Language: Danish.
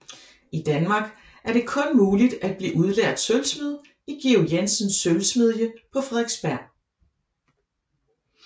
I Danmark er det kun muligt at blive udlært sølvsmed i Georg Jensens sølvsmedje på Frederiksberg